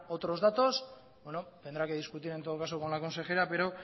otros datos bueno tendrá que discutir en todo caso con la consejera pero